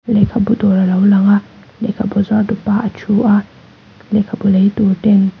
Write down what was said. lehkhabu dawr a lo lang a lehkhabu zuartupa a thu a lehkhabu lei tur ten--